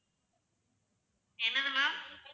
என்னது ma'am